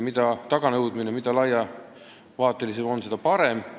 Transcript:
Mida laiema põhjaga haridus on, seda parem.